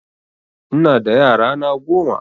Ina da yara na goma